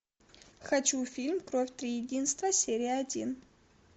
хочу фильм кровь триединства серия один